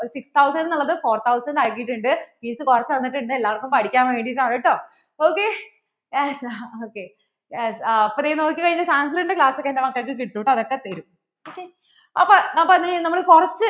six thousand എന്ന് ഉള്ളത് four thousand അക്കിട്ടുണ്ട് fees കുറച്ചു തന്നിട്ട്ണ്ട് എല്ലാർക്കും പഠിക്കാൻ വേണ്ടീട്ടാണ് ട്ടോ ok okyes അപ്പോൾ ദേ നോക്കി കഴിഞ്ഞാൽ Sanskrit ന്‍റെ class ഒക്കെ എൻ്റെ മക്കൾക്ക് കിട്ടും കേട്ടോ അത് ഒക്കെ തെരും